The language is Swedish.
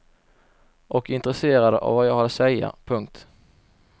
Och intresserad av vad jag hade att säga. punkt